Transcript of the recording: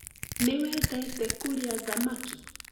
Niwendete kũria thamaki